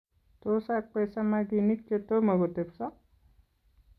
Tos akwei samaginik chetomo kotepso?